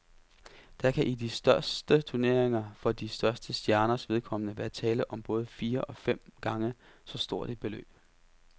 Der kan i de største turneringer for de største stjerners vedkommende være tale om både fire og fem gange så stort et beløb.